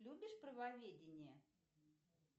любишь правоведение